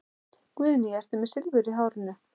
Guðný: Ertu með Silfur í hárinu?